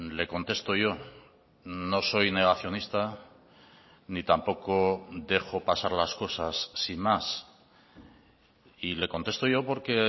le contesto yo no soy negacionista ni tampoco dejo pasar las cosas sin más y le contesto yo porque